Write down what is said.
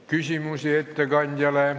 Küsimusi ettekandjale?